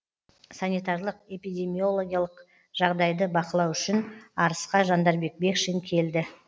санитарлық эпидемиологиялық жағдайды бақылау үшін арысқа жандарбек бекшин келді